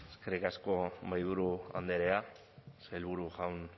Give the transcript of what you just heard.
eskerrik asko mahaiburu andrea sailburu jaun